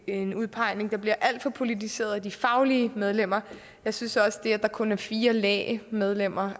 en udpegning der bliver alt for politiseret af de faglige medlemmer jeg synes også at det at der kun er fire lægmedlemmer